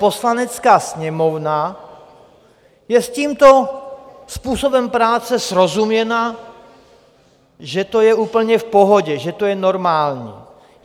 Poslanecká sněmovna je s tímto způsobem práce srozuměna, že to je úplně v pohodě, že to je normální.